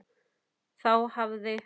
Þá hafði